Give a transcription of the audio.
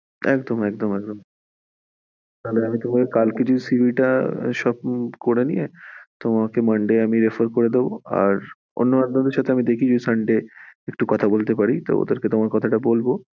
একদম একদম একদম, তাহলে কালকে CV তা সব করে নিয়ে তোমাকে monday আমি রেফার করে দেব আর একজনের সাথে দেখি যদি sunday কথা বলতে পারি দেখি তোমার কথাটা বলবো আর CV টা forward করবো।